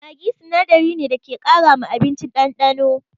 Maggi sinadari ne da ke ƙara ma abinci ɗanɗano.